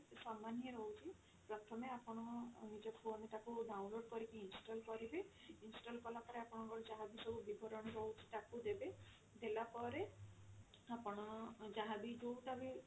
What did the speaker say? ସମାନ ହିଁ ରହୁଛି ପ୍ରଥମେ ଆପଣ ଅ ନିଜ phone ରେ ତାକୁ download କରିକି install କରିବେ install କଲା ପରେ ଆପଣଙ୍କର ଯାହା ବି ସବୁ ବିବରଣୀ ରହୁଛି ତାକୁ ଦେବେ ଦେଲା ପରେ ଆପଣ ଯାହା ବି ଯଉ ଟା ବି